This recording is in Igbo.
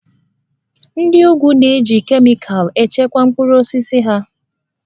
Ndị úgwù na-eji kemịkalụ echekwa mkpụrụ osisi ha